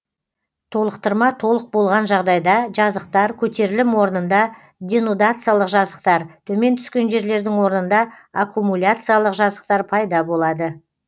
толықтырма толық болған жағдайда жазықтар көтерілім орнында денудациялық жазықтар төмен түскен жерлердің орнында аккумуляциялық жазықтар пайда болады